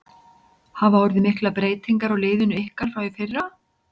Hafa orðið miklar breytingar á liðinu ykkar frá því í fyrra?